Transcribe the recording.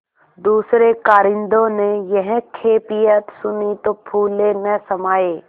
दूसरें कारिंदों ने यह कैफियत सुनी तो फूले न समाये